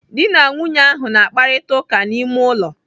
Dị na nwunye ahụ na-akparita ụka n'ime ụlọ.